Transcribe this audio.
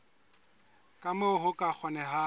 ka moo ho ka kgonehang